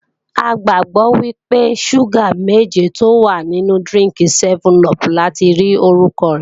A gbàgbọ́ wípé, ṣúgà méje tó wà nínú dírínkì sẹ́mẹ́n-upù lati rí orúkọ rẹ̀